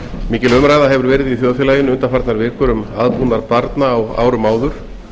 mikil umræða hefur verið í þjóðfélaginu undanfarnar vikur m aðbúnað barna á árum áður